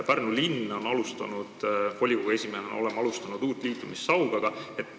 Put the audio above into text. Pärnu Linnavolikogu, mille esimees ma olen, on alustanud uut liitumist Saugaga.